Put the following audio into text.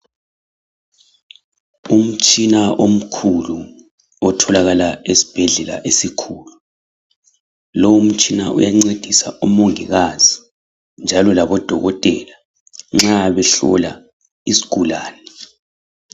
Umtshina omkhulu, otholakala esibhedlela esikhulu, lowumtshina kuyancedisa omongikazi, njalo labodokotela nxa behlola isgulane.